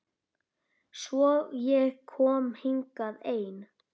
Svo ég kom hingað ein.